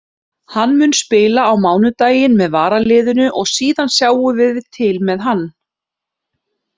Hann mun spila á mánudaginn með varaliðinu og síðan sjáum við til með hann.